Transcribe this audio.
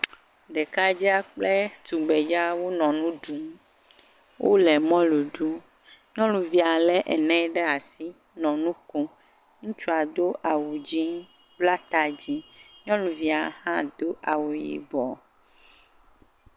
Ɖekadea kple tugbedzea wonɔ nu ɖum. Wonŋɔ mɔlu ɖum. Nyɔnuvia lé enɛ ɖe asi nɔ nu kom. Ŋutsua do awu dzɛ̃, bla ta dzɛ̃. Nyɔnuvia hã do awu yibɔ.